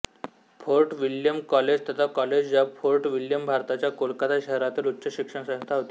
fort William college तथा college of fort William भारताच्या कोलकाता शहरातील उच्च शिक्षणसंस्था होती